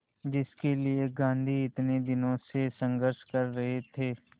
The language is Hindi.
जिसके लिए गांधी इतने दिनों से संघर्ष कर रहे थे